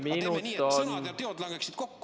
Teeme niimoodi, et sõnad ja teod langeksid kokku.